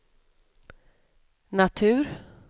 natur